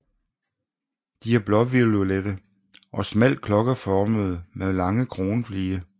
De er blåviolette og smalt klokkeformede med lange kronflige